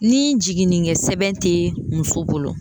Ni jiginikɛ sɛbɛn tɛ muso bolo.